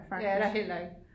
Det er der heller ikke